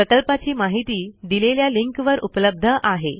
प्रकल्पाची माहिती दिलेल्या लिंकवर उपलब्ध आहे